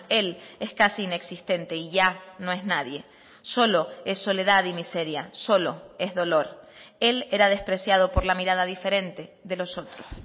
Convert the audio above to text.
él es casi inexistente y ya no es nadie solo es soledad y miseria solo es dolor él era despreciado por la mirada diferente de los otros